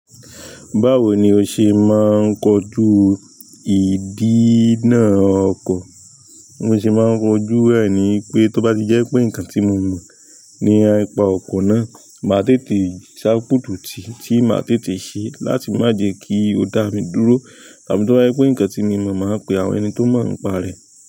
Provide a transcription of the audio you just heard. Báwo ni o ṣe máa ń kojú ìdí náà ọkọ̀? Bi mo se máa ń koju ẹ̀ ní pé tó bá ti jẹ́ pé nǹkan tí mo mọ̀ ni ipa ọkọ̀ náà, màá tètè ṣápùtì tí màá tètè ṣe láti má jẹ́ kí ó dá mi dúró. Àbí tó bá jẹ́ pé nǹkan tí mi mọ̀ máa pe àwọn ẹni tó mọ̀ nípa rẹ̀.